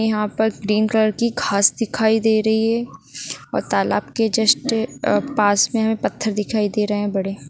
यहां पर green colour की घास दिखाई दे रही है और तालाब के जस्ट अ पास में हमे पत्थर दिखाई दे रहे है बड़े।